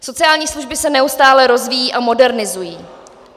Sociální služby se neustále rozvíjejí a modernizují.